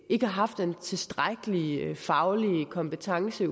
ikke har haft den tilstrækkelige faglige kompetence